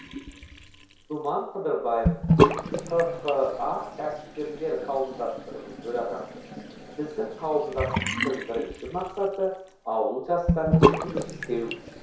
думан қыдырбаев қха кәсіпкерлер қауымдастығының төрағасы біздің қауымдастықтың бірінші мақсаты ауыл жастарымен жұмыс істеу